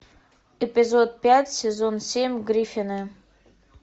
эпизод пять сезон семь гриффины